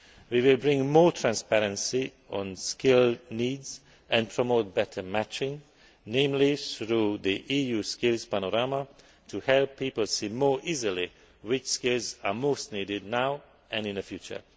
We will bring more transparency on skill needs and promote better matching, namely through the EU skills panorama to help people see more easily which skills are most needed now and in the future.